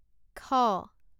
খ